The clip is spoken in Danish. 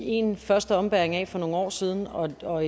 en første ombæring af for nogle år siden og og